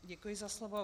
Děkuji za slovo.